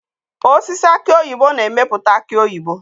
Osisi aki oyibo na-emepụta aki oyibo.